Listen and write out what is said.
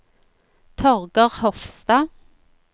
Torger Hofstad